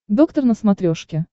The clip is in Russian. доктор на смотрешке